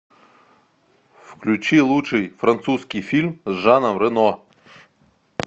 включи лучший французский фильм с жаном рено